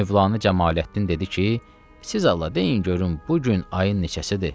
Mövlanə Camaləddin dedi ki, siz Allah deyin görün bu gün ayın neçəsidir?